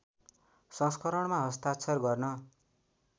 संस्करणमा हस्ताक्षर गर्न